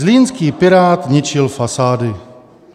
Zlínský pirát ničil fasády.